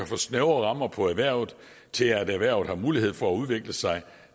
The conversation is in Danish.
for snævre rammer for erhvervet til at erhvervet har mulighed for at udvikle sig